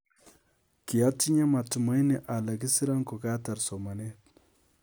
Kiatinyee matumaini ale kisira ko ka taar somaneet